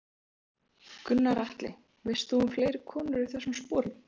Gunnar Atli: Veist þú um fleiri konur í þessum sporum?